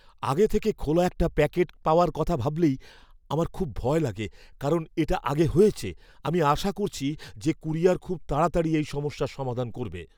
আগে থেকে খোলা একটা প্যাকেট পাওয়ার কথা ভাবলেই আমার খুব ভয় লাগে কারণ এটা আগে হয়েছে; আমি আশা করছি যে কুরিয়ার খুব তাড়াতাড়ি এই সমস্যার সমাধান করবে।